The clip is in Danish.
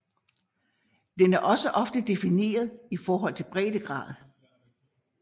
Den er også ofte defineret i forhold til breddegrad